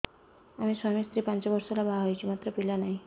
ଆମେ ସ୍ୱାମୀ ସ୍ତ୍ରୀ ପାଞ୍ଚ ବର୍ଷ ହେଲା ବାହା ହେଇଛୁ ମାତ୍ର ପିଲା ନାହିଁ